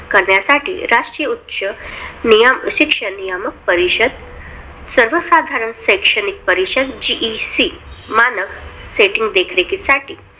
करण्यासाठी राष्टीय उच्च शिक्षण नियमक परिषद सर्वसाधारण शैक्षणिक परिषद GEC मानक setting देखरीखीसाठी